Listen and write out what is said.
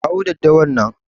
Kawo daddawar nan.